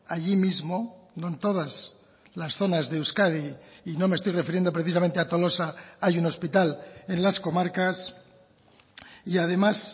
allí mismo no en todas las zonas de euskadi y no me estoy refiriendo precisamente a tolosa hay un hospital en las comarcas y además